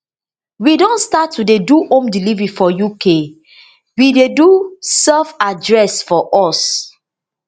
and we don start to dey do home delivery for uk we dey do selfaddress for us